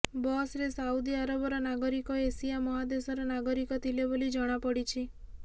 ବସ୍ରେ ସାଉଦି ଆରବର ନାଗରିକ ଏସିଆ ମହାଦେଶର ନାଗରିକ ଥିଲେ ବୋଲି ଜଣାପଡ଼ିଛି